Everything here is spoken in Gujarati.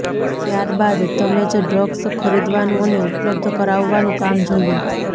ત્યારબાદ તમે જ ડ્રગ્સ ખરીદવાનું અને ઉપલબ્ધ કરાવવાનું કામ જોયુ